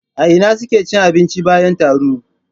A ina suke cin abinci bayan taro?